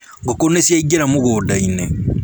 Ngũkũ nĩciaingĩra mũgũnda-inĩ